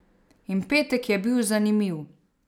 In petek je bil zanimiv ...